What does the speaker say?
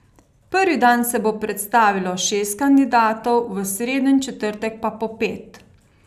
Prvi dan se bo predstavilo šest kandidatov, v sredo in četrtek pa po pet.